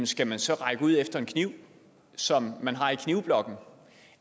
skal man så række ud efter en kniv som man har i knivblokken